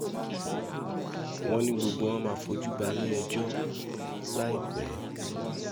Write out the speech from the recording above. wọ́n ní gbogbo wọn máa fojú balẹ̀-ẹjọ́ láìpẹ́